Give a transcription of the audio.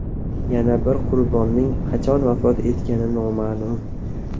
Yana bir qurbonning qachon vafot etgani noma’lum.